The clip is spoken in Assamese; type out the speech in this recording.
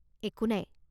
একো নাই!